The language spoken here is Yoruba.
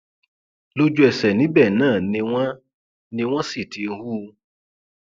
lójúẹsẹ níbẹ náà ni wọn ni wọn sì ti hù ú